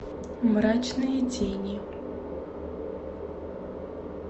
мрачные тени